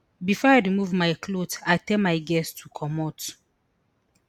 bifor i remove my clothes i tell my girls to comot